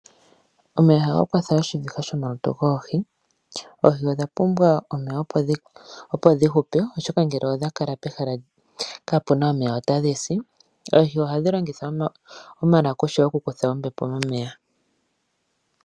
Omeya ohaga kwatha oshiviha shomalutu goohi oohi odha pumbwa omeya opo dhi hupe oshoka ngele odha kala pehala kapu na omeya ota dhi si. Oohi ohadhi longitha omalakusha okukutha ombepo momeya.